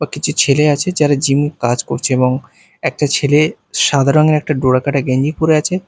ও কিছু ছেলে আছে যারা জিম কাজ করছে এবং একটা ছেলে সাদা রঙের একটা ডোরা কাটা গেঞ্জি পড়ে আছে।